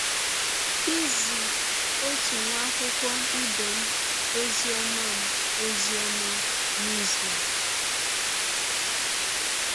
Izi ọtụ nwa akwụkwọ ibe m ọzi ọma m ọzi ọma n’izụ a.